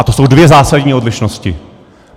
A to jsou dvě zásadní odlišnosti.